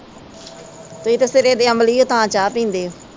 ਤੁਸੀ ਤਾ ਸਿਰੇ ਦੇ ਅਮਲੀ ਓ ਤਾ ਚਾਹ ਪੀਂਦੇ ਓ।